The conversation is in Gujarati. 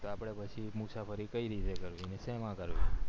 આપડે પછી મુસાફરી કય રીતે કરવી ને સેમા કરવી